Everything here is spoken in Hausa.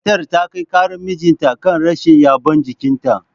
Matar ta kai karar mijinta kan rashin yabon jikinta.